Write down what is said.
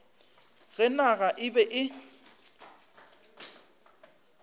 ge naga e be e